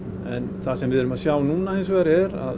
en það sem við erum að sjá núna hins vegar er að